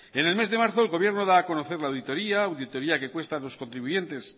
en el mes de marzo el gobierno da a conocer la auditoría auditoría que cuesta a los contribuyentes